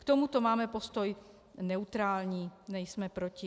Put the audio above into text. K tomuto máme postoj neutrální, nejsme proti.